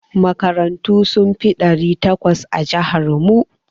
Makarantu sun fi ɗari takwas a jihar mu.